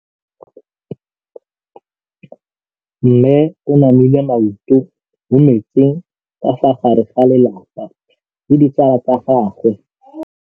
Mme o namile maoto mo mmetseng ka fa gare ga lelapa le ditsala tsa gagwe.